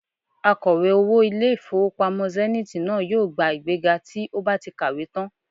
Akọ̀wé owó ilé-ìfowópamọ́ Zenith náà yóò gba ìgbéga tí ó bá ti kàwé tán